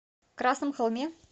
красном холме